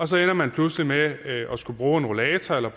så ender man pludselig med at skulle bruge en rollator eller